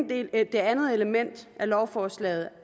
det andet element i lovforslaget